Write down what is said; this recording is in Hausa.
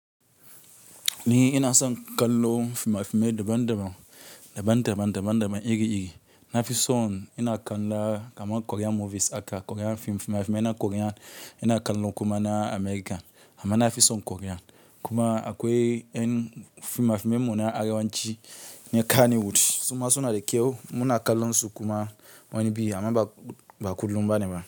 Ni ina san kallon fimafime daban-daban, daban-daban, daban-daban, iri-iri. Nafison ina kalla kaman Korean movies aka Korean fim fimafime ina Korean ina kallo kuma na America. Ama nafison Korean kuma akwai en fimafime mu na arewanci na Kannywood. Suma suna da kyau mu na kallo su kuma wani bi ama ba, ba kullum bane ba.